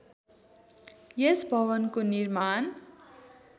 यस भवनको निर्माण